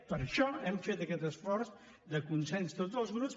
per això hem fet aquest esforç de consens tots els grups